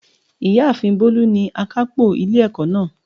Ìyáàfin Bólú ni akápò ilé ẹ̀kọ́ náà